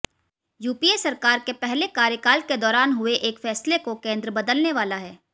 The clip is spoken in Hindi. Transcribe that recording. यूपीए सरकार के पहले कार्यकाल के दौरान हुए एक फैसले को केंद्र बदलने वाला है